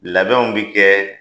Labɛnw bɛ kɛ